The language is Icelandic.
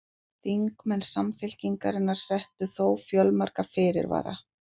Þingmenn Samfylkingarinnar settu þó fjölmarga fyrirvara